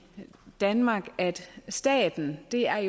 danmark at staten er